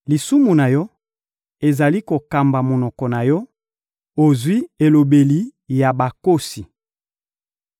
Lisumu na yo ezali kokamba monoko na yo, ozwi elobeli ya bakosi.